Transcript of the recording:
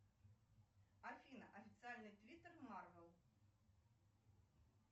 афина официальный твиттер марвел